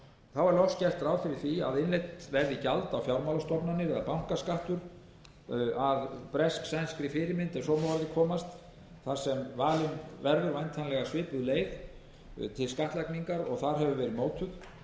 þá er loks gert ráð fyrir því að innheimt verði gjald á fjármálastofnanir það er bankaskattur að bresk sænskri fyrirmynd ef svo má að orði komast þar sem valin verður væntanlega svipuð leið til skattlagningar og þar hefur verið notuð